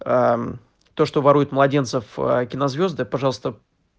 аа то что воруют младенцев кинозвезды пожалуйста